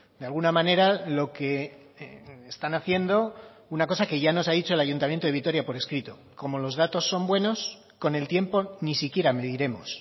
de alguna manera lo que están haciendo una cosa que ya nos ha dicho el ayuntamiento de vitoria por escrito como los datos son buenos con el tiempo ni siquiera mediremos